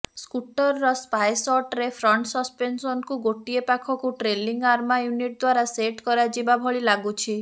ସ୍କୁଟରର spy ଶର୍ଟରେ front ସସପେନସନକୁ ଗୋଟିଏ ପାଖକୁ ଟ୍ରେଲିଂ ଆର୍ମା ୟୁନିଟ ଦ୍ବାରା ସେଟ୍ କରାଯିବାଭଳି ଲାଗୁଛି